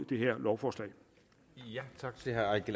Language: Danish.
det her lovforslag